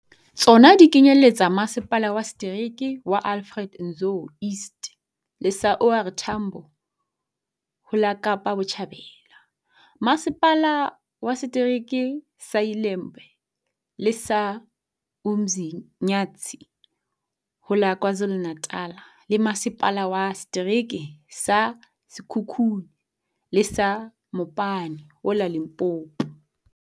Tsona di kenyelletsa Masepala wa Setereke sa Alfred Nzo East le sa OR Tambo ho la Kapa Botjhabela, Masepala wa Se tereke sa ILembe le sa UMzi nyathi ho la KwaZulu-Na tal, le Masepala wa Setereke sa Sekhukhune le sa Mopani ho la Limpopo.